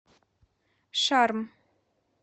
шарм